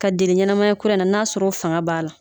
K'a deli ɲɛnamaya kura in na n'a sɔr'o faŋa b'a la.